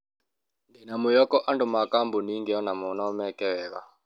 Ndĩna mwĩhoko andũ ma kabũnĩ ĩngĩ onao no meke wega.